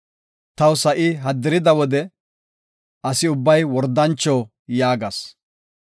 Taw sa7i haddirida wode, “Asi ubbay wordancho” yaagas.